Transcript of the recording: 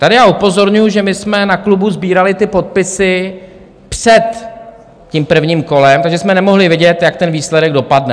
Tady já upozorňuju, že my jsme na klubu sbírali ty podpisy před tím prvním kolem, takže jsme nemohli vědět, jak ten výsledek dopadne.